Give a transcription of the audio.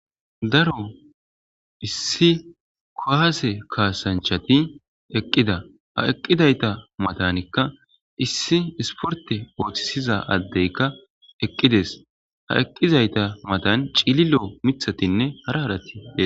Daro issi kowase kaasanchati eqqida ha eqqidayta matanikka issi isporte ooththisiza addeykka eqqides ha eqqizayta matan ciililo mithatinne hara haratii.